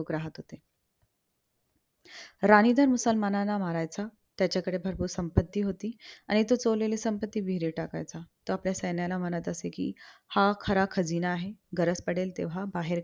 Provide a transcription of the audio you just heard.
राणीधर मुसलमानां मारायचा. त्याच्याकडे भरपूर संपत्ति होती आणि तो चोरलेली संपत्ति विहिरीत टाकायचा. तो आपल्या सैन्याला म्हणत असे, कि हा खरा खजिना आहे. गरज पडेल तेव्हा बाहेर